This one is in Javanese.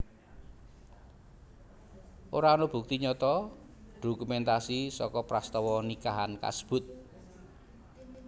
Ora ana bukti nyata dokumentasi saka prastawa nikahan kasebut